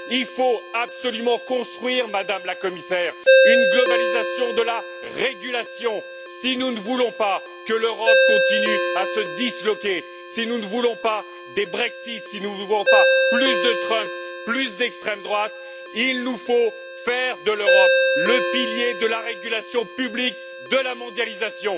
Il faut absolument construire, Madame la Commissaire, une globalisation de la régulation si nous ne voulons pas que l'Europe continue à se disloquer. Si nous ne voulons pas des Brexit, si nous ne voulons pas plus de Trump, plus d'extrême droite, il nous faut faire de l'Europe le pilier de la régulation publique de la mondialisation.